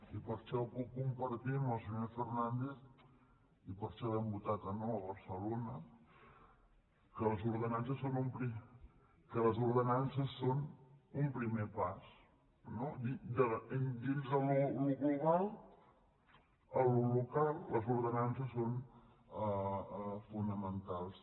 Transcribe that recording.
i per això puc compartir amb el senyor fernàndez i per això vam votar que no a barcelona que les ordenances són un primer pas no dins del global a allò local les ordenances són fonamentals